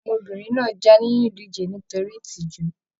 Ọmọbìnrin náà já nínú ìdíje náà nítorí ìtìjú.